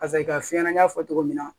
Paseke ka fiɲɛ na n y'a fɔ cogo min na